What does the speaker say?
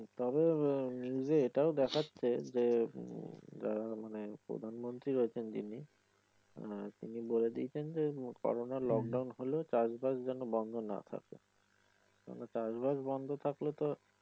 তবে নিউজে এইটাও দেখাচ্ছে যে যারা মানে প্রধানমন্ত্রী রয়েছেন যিনি তিনি বলে দিয়েছেন যে করোনার লকডাউন হলেও যেনো চাষ বাস বন্ধ নাহ থাকে । কারন চাষ বাস বন্ধ থাকলে তো